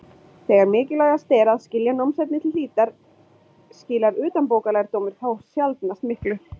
Þegar mikilvægast er að skilja námsefnið til hlítar skilar utanbókarlærdómur þó sjaldnast miklu.